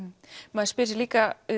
maður spyr sig líka